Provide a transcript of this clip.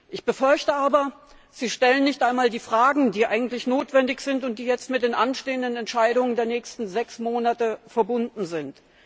Ich befürchte aber, Sie stellen nicht einmal die Fragen, die eigentlich notwendig sind und die mit den anstehenden Entscheidungen der nächsten sechs Monate verbunden sind.